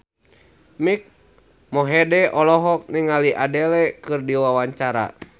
Mike Mohede olohok ningali Adele keur diwawancara